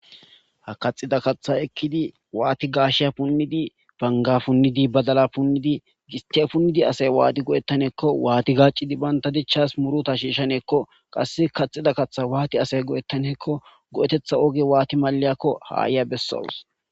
Ha kaxxida kaththa ekidi waati gashshiya punnidi,Banga punnid,badala punnidi,gistiya punnidi asayi waani go'etaneko asayi waati gaccidi banta dichchasi muruta shishshanneko qaasi kaxxida kaththa asayi waati go'etaneko go'eteththa oge waati malliyako ha ayiya besawuse.